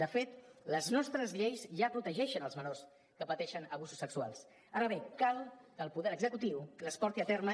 de fet les nostres lleis ja protegeixen els menors que pateixen abusos sexuals ara bé cal que el poder executiu les porti a terme